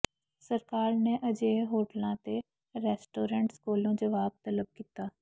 ਸਰਕਾਰ ਨੇ ਅਜਿਹੇ ਹੋਟਲਾਂ ਤੇ ਰੈਸਟੋਰੈਂਟਸ ਕੋਲੋਂ ਜਵਾਬ ਤਲਬ ਕੀਤਾ